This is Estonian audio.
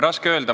Raske öelda.